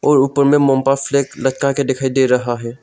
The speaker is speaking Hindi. और ऊपर में फ्लैग लटका के दिखाई दे रहा है।